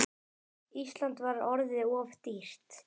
Ísland var orðið of dýrt.